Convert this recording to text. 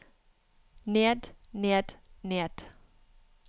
ned ned ned